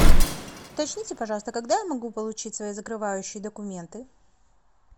уточните пожалуйста когда я могу получить свои закрывающие документы